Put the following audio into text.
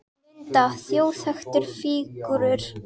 Linda: Þjóðþekktar fígúrur?